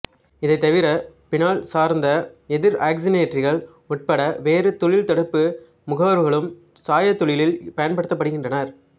இதைத்தவிர பீனால் சார்ந்த எதிர் ஆக்சிசனேற்றிகள் உட்பட வேறு தோல்தடுப்பு முகவர்களும் சாயத்தொழிலில் பயன்படுத்தப்படுகின்றன